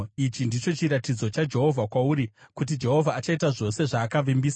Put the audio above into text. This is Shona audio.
“ ‘Ichi ndicho chiratidzo chaJehovha kwauri kuti Jehovha achaita zvose zvaakavimbisa: